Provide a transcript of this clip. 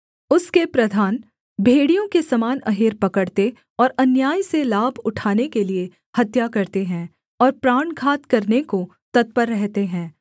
उसके प्रधान भेड़ियों के समान अहेर पकड़ते और अन्याय से लाभ उठाने के लिये हत्या करते हैं और प्राण घात करने को तत्पर रहते हैं